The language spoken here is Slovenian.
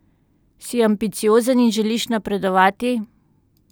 Si ambiciozen in želiš napredovati?